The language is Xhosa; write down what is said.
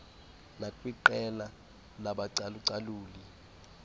nakwiqela labacalu caluli